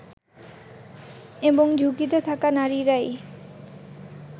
এবং ঝুঁকিতে থাকা নারীরাই